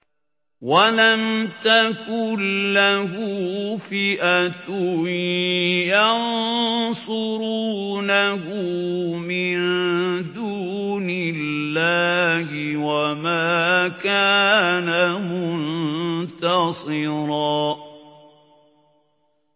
وَلَمْ تَكُن لَّهُ فِئَةٌ يَنصُرُونَهُ مِن دُونِ اللَّهِ وَمَا كَانَ مُنتَصِرًا